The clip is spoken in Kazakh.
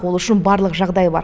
ол үшін барлық жағдай бар